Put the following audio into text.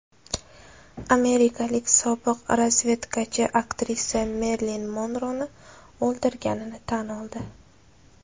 Amerikalik sobiq razvedkachi aktrisa Merilin Monroni o‘ldirganini tan oldi.